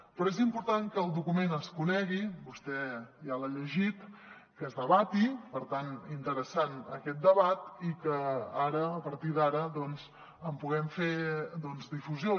però és important que el document es conegui vostè ja l’ha llegit que es debati per tant interessant aquest debat i que ara a partir d’ara doncs en puguem fer difusió